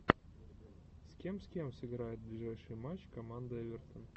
с кем с кем сыграет ближайший матч команда эвертон